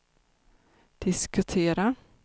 diskutera